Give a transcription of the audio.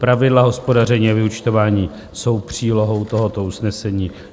Pravidla hospodaření a vyúčtování jsou přílohou tohoto usnesení.